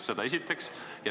Seda esiteks.